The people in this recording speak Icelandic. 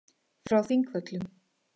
Frá Þingvöllum.